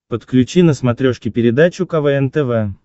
подключи на смотрешке передачу квн тв